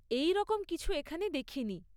এই রকম কিছু এখানে দেখিনি।